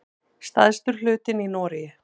Stærstur hlutinn í Noregi.